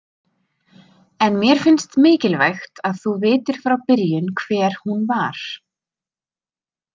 En mér finnst mikilvægt að þú vitir frá byrjun hver hún var.